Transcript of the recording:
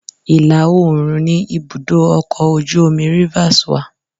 Ilá oòrùn ni ibùdó ọkọ̀ ojú omi Rivers wà